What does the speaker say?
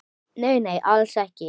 Nei, nei, alls ekki.